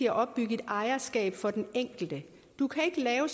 at opbygge et ejerskab for den enkelte du kan ikke lave